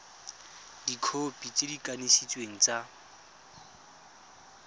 dikhopi tse di kanisitsweng tsa